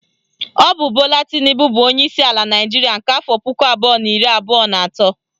Ọ bụ Bola Tinubu bụ onyeisi ala Naịjiria nke afọ puku abụọ na iri abụọ na atọ